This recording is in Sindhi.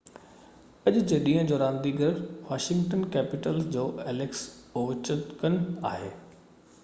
اڄ جي ڏينهن جو رانديگر واشنگٽن ڪيپيٽلز جو ايليڪس اووچڪن آهي